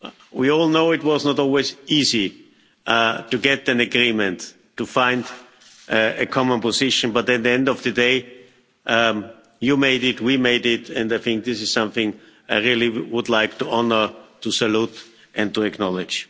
We all know it was not always easy to get an agreement, to find a common position, but at the end of the day you made it, we made it and I think this is something I would really like to honour, to salute and to acknowledge.